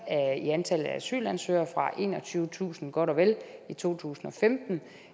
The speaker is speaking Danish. i antallet af asylansøgere fra enogtyvetusind godt og vel i to tusind og femten